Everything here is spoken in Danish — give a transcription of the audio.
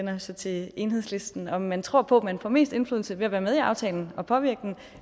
er så til enhedslisten om man tror på at man får mest indflydelse ved at være med i aftalen og påvirke den